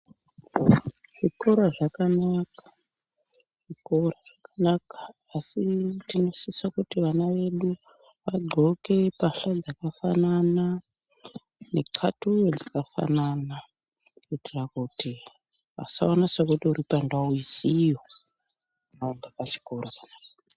Zvikora zvakanaka, zvikora zvakanaka asi tinosise kuti vana vedu vadxoke pahla dzakafanana nexatuya dzakafanana kuitira kuti vasaone sekuti uri pandau isiyo ari pachikora panapa.